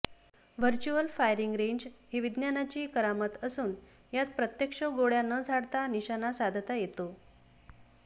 virtual firing range ही विज्ञानाची करामत असून यात प्रत्यक्ष गोळ्या न झाडता निशाणा साधता येतो